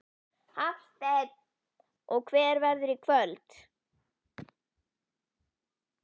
Hafsteinn: Og hver verðurðu í kvöld?